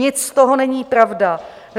Nic z toho není pravda.